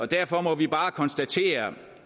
derfor må vi bare konstatere